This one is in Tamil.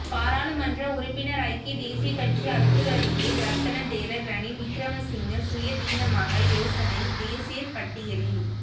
பாராளுமன்ற உறுப்பினர் ஐக்கிய தேசியக் கட்சி அத்துரலியே ரத்ன தேரர் ரணில் விக்ரமசிங்க சுயாதீனமாக யோசனை தேசிய பட்டியலில்